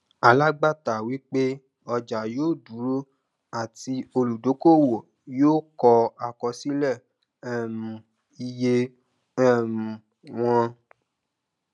alágbàátà wí pé ọjà yóò dúró àti olùdókòòwò yóò kọ àkọsílẹ um iye um wọn